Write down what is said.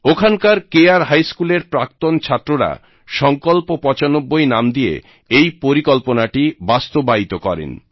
ওখানকার কে আর হাই স্কুল এর প্রাক্তন ছাত্ররা সংকল্প ৯৫ নাম দিয়ে এই পরিকল্পনাটি বাস্তবায়িত করেন